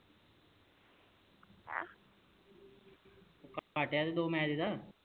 ਘਾਟੇ ਆਲੀ ਦੋ ਮਿਲ